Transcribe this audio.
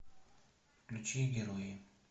включи герои